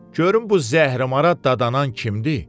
Görüm bu zəhrəmara dadanan kimdir?